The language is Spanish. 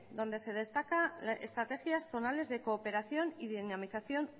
donde se destacan estrategias zonales de cooperación y dinamización